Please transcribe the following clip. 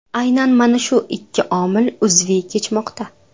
Aynan mana shu ikki omil uzviy kechmoqda.